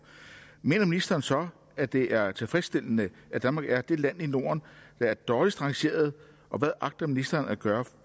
mener ministeren så at det er tilfredsstillende at danmark er det land i norden der er dårligst rangeret og hvad agter ministeren at gøre